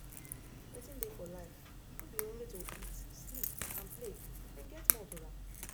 wetin dey for life no be only to eat sleep and play dem get more to am